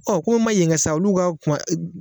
Ɔ komi n m'a yen kɛ sa olu ka kɔn a un